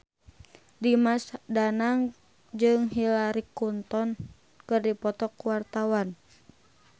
Dimas Danang jeung Hillary Clinton keur dipoto ku wartawan